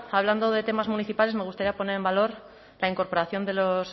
hablando de temas municipales me gustaría poner en valor la incorporación de los